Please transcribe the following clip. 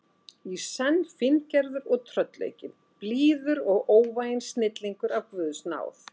í senn fíngerður og tröllaukinn, blíður og óvæginn snillingur af guðs náð.